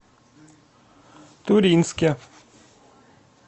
туринске